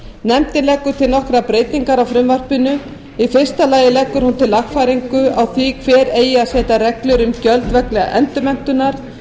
nefndin leggur til nokkrar breytingar á frumvarpinu í fyrsta lagi leggur hún til lagfæringu á því hver eigi að setja reglur um gjöld vegna endurmenntunar